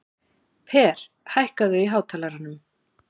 Per, hækkaðu í hátalaranum.